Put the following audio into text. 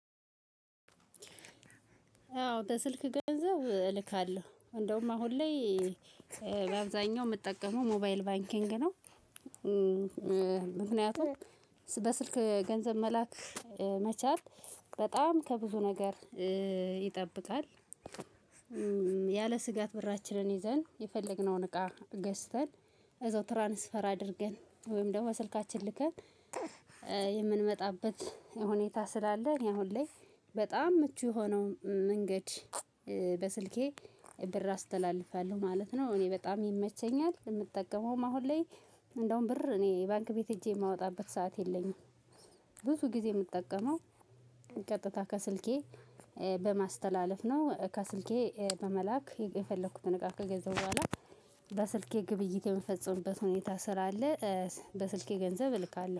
አዎ በስልክ ገንዘብ እልካለሁ እንደውም አሁን ላይ በአብዛኛው የምጠቀመው ሞባይል ባንኪንግ ነው። ምክንያቱም በስልክ ገንዘብ መላክ መቻል በጣም ከብዙ ነገር ይጠብቃል። ያለ ስጋት ብራችንን ይዘን የፈለግነውን እቃ ገዝተን እዛው ትራንስፈር አድርገን ወይም ደግሞ በስልካችን ልከን የምንመጣበት ሁኔታ ስላለ። እኔ አሁን ላይ በጣም ምቹ የሆነው መንገድ በስልኬ ብር አስተላልፋለሁ ማለት ነው። እኔ በጣም ይመቸኛል የምጠቀመውም አሁን ላይ እንደውም ብር እኔ ባንክ ቤት ሄጄ የማወጣበት ሰዓት የለኝም። ብዙ ጊዜ የምጠቀመው ቀጥታ ከስልኬ በማስተላለፍ ነው። ከስልኬ በመላክ የፈለኩትን እቃ ከገዛሁ በኋላ በስልኬ ግብይት የምፈጽምበት ሁኔታ ስላለ በስልኬ ገንዘብ እልካለሁ